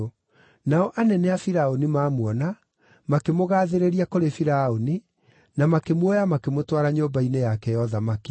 Nao anene a Firaũni mamuona, makĩmũgaathĩrĩria kũrĩ Firaũni, na makĩmuoya makĩmũtwara nyũmba-inĩ yake ya ũthamaki.